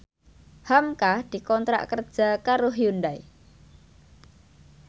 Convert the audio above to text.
hamka dikontrak kerja karo Hyundai